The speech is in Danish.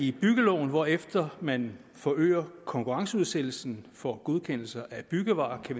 i byggeloven hvorefter man forøger konkurrenceudsættelsen for godkendelser af byggevarer er